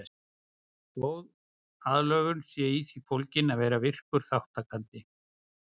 Góð aðlögun sé í því fólgin að vera virkur þátttakandi.